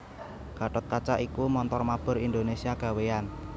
Gatotkaca iku montor mabur Indonésia gawéyan